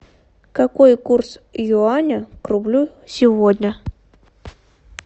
какой курс юаня к рублю сегодня